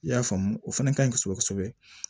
I y'a faamu o fana ka ɲi kosɛbɛ kosɛbɛ